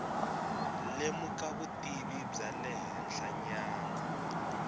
lemuka vutivi bya le henhlanyana